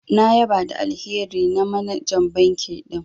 Na ƴaba da alheri na manajan banki din.